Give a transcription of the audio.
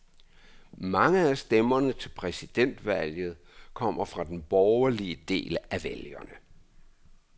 Mange af stemmerne til præsidentvalget kommer fra den borgerlige del af vælgerne.